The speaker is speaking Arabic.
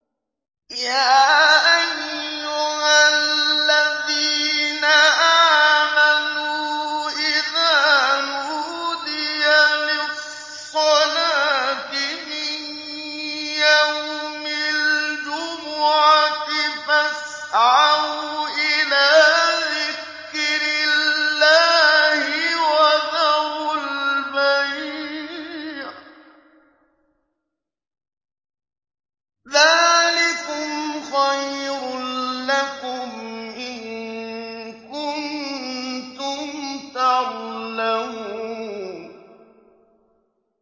يَا أَيُّهَا الَّذِينَ آمَنُوا إِذَا نُودِيَ لِلصَّلَاةِ مِن يَوْمِ الْجُمُعَةِ فَاسْعَوْا إِلَىٰ ذِكْرِ اللَّهِ وَذَرُوا الْبَيْعَ ۚ ذَٰلِكُمْ خَيْرٌ لَّكُمْ إِن كُنتُمْ تَعْلَمُونَ